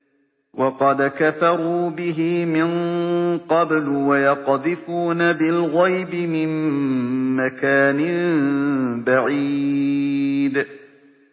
وَقَدْ كَفَرُوا بِهِ مِن قَبْلُ ۖ وَيَقْذِفُونَ بِالْغَيْبِ مِن مَّكَانٍ بَعِيدٍ